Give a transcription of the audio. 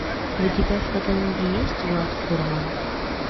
у тебя в каталоге есть влад фурман